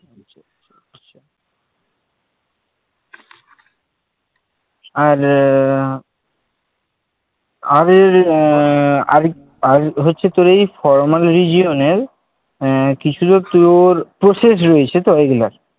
আর এর আর এর আহ আর আর হচ্ছে তোর এই formal region এর আহ কি ছিলো তোর process রয়েছে তোর এই গুলার